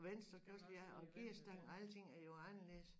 Og venstrekørsel ja og gearstang alting er jo anderledes